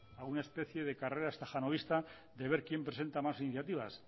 a una especie de carrera estajanovista de ver quien presenta más iniciativas